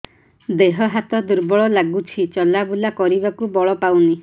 ଦେହ ହାତ ଦୁର୍ବଳ ଲାଗୁଛି ଚଲାବୁଲା କରିବାକୁ ବଳ ପାଉନି